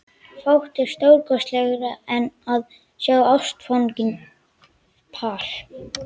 Fátt er stórkostlegra en að sjá ástfangið par.